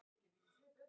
Ekki gerir þú það!